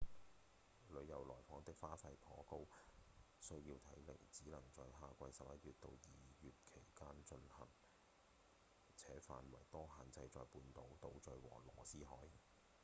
遊客來訪的花費頗高、需要體力、只能在夏季11月到2月間進行且範圍多限制在半島、島嶼和羅斯海